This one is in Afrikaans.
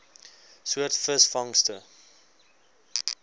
soort visvangste